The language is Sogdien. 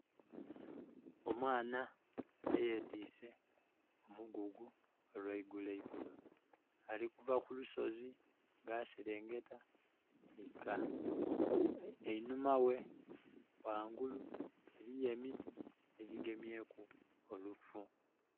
Omwaana eyetwise omugugu olweigulo egulo, alikuva kulusozi nga aserengeta eika. Enhuma we wangulu eriyo emiti ejigemyeku olufu.